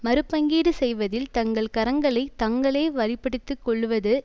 மறு பங்கீடு செய்வதில் தங்கள் கரங்களை தாங்களே வலு படுத்தி கொள்ளுவது